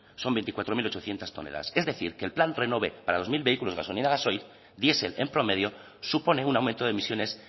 son veinticuatro mil ochocientos toneladas es decir que el plan renove para dos mil vehículos gasolina gasoil diesel en promedio supone un aumento de emisiones